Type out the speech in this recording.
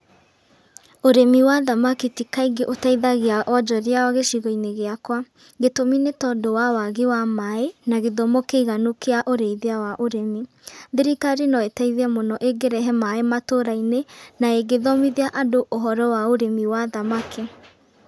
Ũrĩmi wa thamaki ti kaingĩ ũteithagia wonjoria gĩcigo-inĩ gĩakwa. Gĩtũmi nĩ tondũ wa wagi wa maĩ na gĩthomo kĩiganu kĩa ũrĩithia wa ũrĩmi. Thirikari no ĩteithie mũno ĩngĩrehe maĩ matũra-inĩ na ĩngĩthomithia andũ ũhoro wa ũrĩmi wa thamaki.